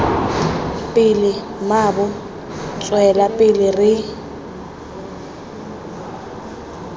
pele mmaabo tswela pele re